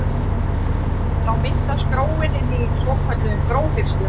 Þá myndast gróin inni í svokölluðum gróhirslum.